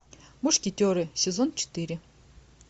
мушкетеры сезон четыре